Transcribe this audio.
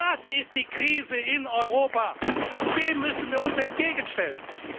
Das ist die Krise in Europa, und dem müssen wir uns entgegenstellen!